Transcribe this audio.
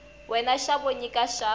wena xo va nyiko ya